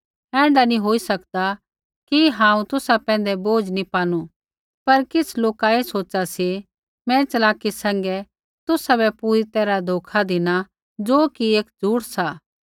ऐण्ढा नी होई सकदा कि हांऊँ तुसा पैंधै बोझ नी पानु पर किछ़ लोका ऐ सोच़ा सी मैं च़लाकी सैंघै तुसाबै पूरी तैरहा धोखा धिना ज़ो कि एक झूठ सा